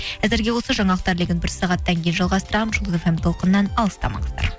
әзірге осы жаңалықтар легін бір сағаттан кейін жалғастырамын жұлдыз фм толқынынан алыстамаңыздар